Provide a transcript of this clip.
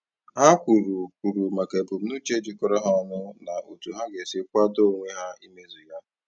Ha kwuru kwuru maka ebumnuche jikọrọ ha ọnụ na otu ha ga-esi kwadoo onwe ha imezu ya.